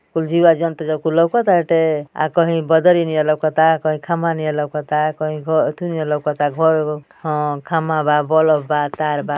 कुल जीवा जंत लौकताटे आ कही बदरी नी लौकता की खमा नी लौकता की घ थुनी लौकता घर अ खमा बा बल्ब बा तार बा।